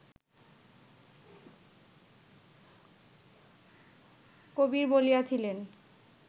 কবির বলিয়াছিলেন